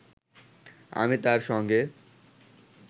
আমি তার সঙ্গে